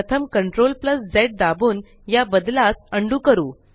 प्रथमCTRLZ दाबून या बदलास अंडू करू